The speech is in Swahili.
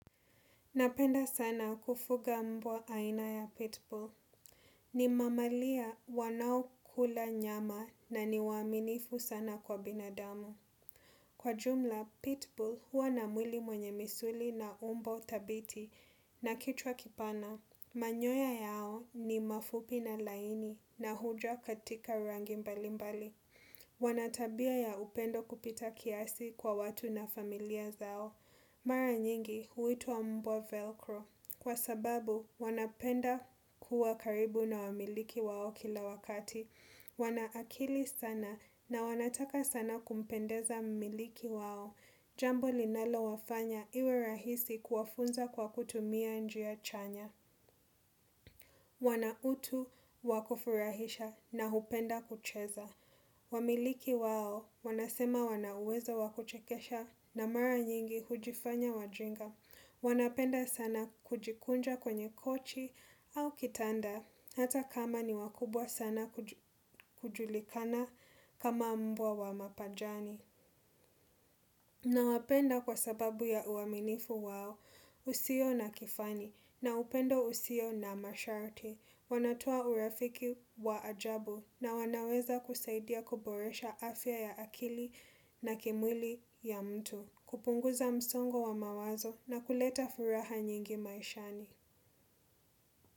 Napenda sana kufuga mbwa aina ya Pitbull. Ni mamalia wanaokula nyama na ni waaminifu sana kwa binadamu. Kwa jumla, Pitbull huwa na mwili mwenye misuli na umbo thabiti na kichwa kipana. Manyoya yao ni mafupi na laini na huja katika rangi mbali mbali. Wanatabia ya upendo kupita kiasi kwa watu na familia zao. Mara nyingi huitwa mbwa velcro kwa sababu wanapenda kuwa karibu na wamiliki wao kila wakati. Wana akili sana na wanataka sana kumpendeza mmiliki wao. Jambo linalowafanya iwe rahisi kuwafunza kwa kutumia njia chanya. Wana utu wakufurahisha na hupenda kucheza. Wamiliki wao wanasema wana uwezo wa kuchekesha na mara nyingi hujifanya wajinga. Wanapenda sana kujikunja kwenye kochi au kitanda hata kama ni wakubwa sana kujulikana kama mbwa wa mapajani. Nawapenda kwa sababu ya uaminifu wao usio na kifani, na upendo usio na masharti, wanatoa urafiki wa ajabu na wanaweza kusaidia kuboresha afya ya akili na kimwili ya mtu, kupunguza msongo wa mawazo na kuleta furaha nyingi maishani.